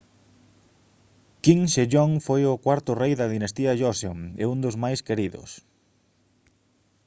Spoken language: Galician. king sejong foi o cuarto rei da dinastía joseon e un dos máis queridos